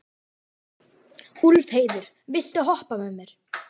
Úlfheiður, viltu hoppa með mér?